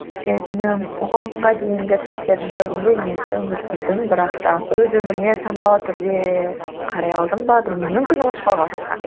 дейінгі сәттердің көбінде мен өмір сүрдім бірақ та өз өміріме саналы түрде қарай алдым ба білмеймін мүмкін ұмытып қалған шығармын